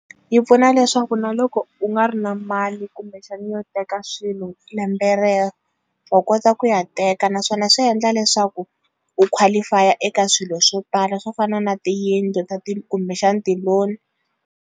Yi pfuna leswaku na loko u nga ri na mali kumbexani yo teka swilo lembe rero wa kota ku ya teka naswona swi endla leswaku u qualify-a eka swilo swo tala swo fana na tiyindlu ta ti kumbexana ti-loan.